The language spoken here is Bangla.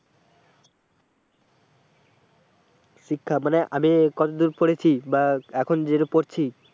শিক্ষা মানে আমি কতদূর পড়েছি বা এখন যেটা পড়ছি।